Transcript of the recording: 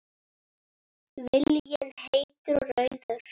Viljinn heitur og rauður.